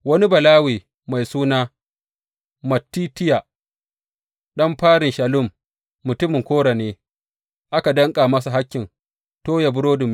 Wani Balawe mai suna Mattitiya, ɗan farin Shallum mutumin Kora ne aka danƙa masa hakkin toya burodin miƙawa.